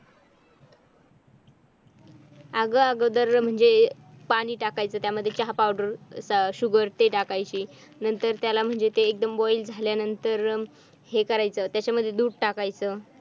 अगं अगोदर म्हणजे पाणी टाकायच त्यामध्ये चहा पावडर sugar ते टाकायचे नंतर नंतर त्याला म्हणजे ते एकदम ते boil झाल्यानंतर हे काय करायचं त्याच्यामध्ये दूध टाकायचं.